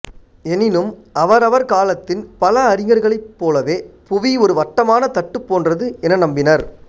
எனினும் அவர் அவர் காலத்தின் பல அறிஞர்களைப் போலவே புவி ஒரு வட்டமான தட்டுப் போன்றது என நம்பினார்